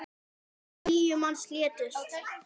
Níu manns létust.